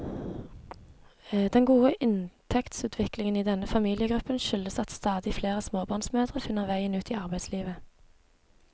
Den gode inntektsutviklingen i denne familiegruppen skyldes at stadig flere småbarnsmødre finner veien ut i arbeidslivet.